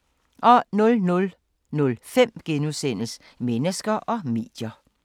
00:05: Mennesker og medier *